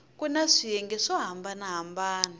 kuna swiyenge swo hambana hambana